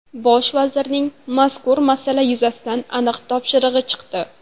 Bosh vazirning mazkur masala yuzasidan aniq topshirig‘i chiqdi.